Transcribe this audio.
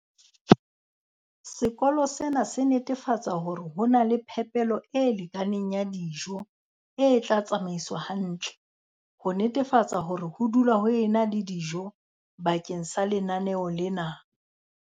Sekolo sena se netefatsa hore ho na le phepelo e lekaneng ya dijo e tla tsamaiswa hantle, ho netefatsa hore ho dula ho ena le dijo bakeng la lenaneo lena.